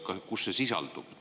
Või kus see sisaldub?